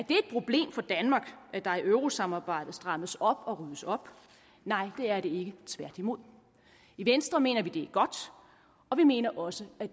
et problem for danmark at der i eurosamarbejdet strammes op og ryddes op nej det er det ikke tværtimod i venstre mener vi at det godt og vi mener også at